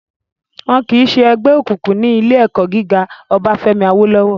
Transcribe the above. Wọ́n kìí sẹ́ ẹgbẹ́ òkùnkùn ní ilé ẹ̀kọ́ gíga Obáfẹ́mi Awólọ́wọ̀